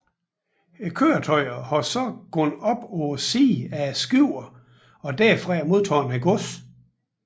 Køretøjer har så gået op på siden af skibene og derfra modtaget godset